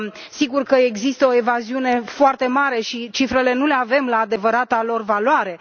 Sigur, există o evaziune foarte mare și cifrele nu le avem la adevărata lor valoare!